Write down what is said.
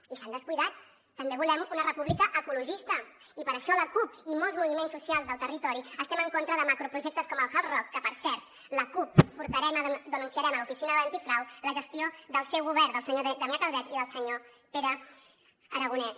i se n’han descuidat també volem una república ecologista i per això la cup i molts moviments socials del territori estem en contra de macroprojectes com el hard rock que per cert la cup denunciarem a l’oficina antifrau la gestió del seu govern del senyor damià calvet i del senyor pere aragonès